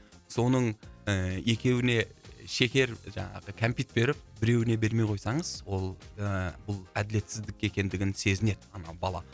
соның ыыы екеуіне шекер жаңағы кәмпит беріп біреуіне бермей қойсаңыз ол ыыы бұл әділетсіздік екендігін сезінеді ана бала